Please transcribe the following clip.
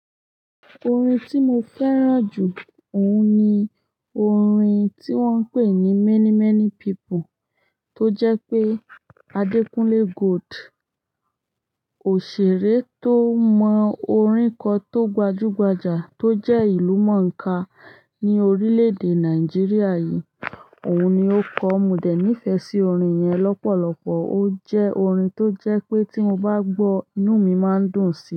Orin tí mo fẹ́ràn jù, òun ni orin tí wọ́n ń pè ní many many people tó jẹ́ pé Adekunle Gold. Òṣèré tó mọ orin ko tó gbajú gbajà tó jẹ́ ìlú mòńkà ní orílẹ̀ èdè Nàìjíríà yìí. Òun ni ó kọ́ mi dè níìfẹ́ sí orin yẹn lọ́pọ̀lọpọ̀. Ó jẹ́ orin tó jẹ́ pé tí mo bá gbọ́, inú mi máa ń dùn sí i.